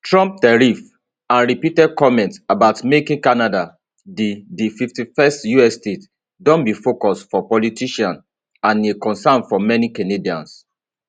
trump tariffs and repeated comments about making canada di di 51st us state don be focus for politicians and a concern for many canadians